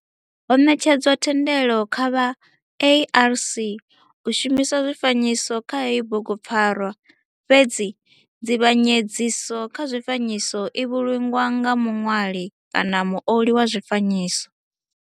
Ho netshedzwa thendelo kha vha ARC u shumisa zwifanyiso kha heyi bugupfarwa fhedzi nzivhanyedziso kha zwifanyiso i vhulungwa nga muṋwali, muoli wa zwifanyiso.